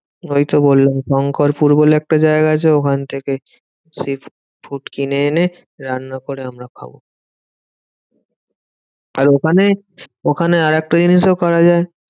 ওই তো বললাম, শংকরপুর বলে একটা জায়গা আছে ওখান থেকে sea food কিনে এনে রান্না করে আমরা খাবো। আর ওখানে ওখানে আরেকটা জিনিসও করা যায়।